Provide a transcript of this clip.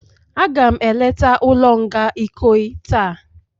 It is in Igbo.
Aga m eleta ulo nga Ikoyi taa